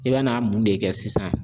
I bɛ n'a mun de kɛ sisan